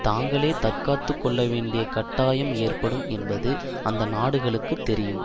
தாங்களே தற்காத்துக்கொள்ளவேண்டிய கட்டாயம் ஏற்படும் என்பது அந்த நாடுகளுக்கு தெரியும்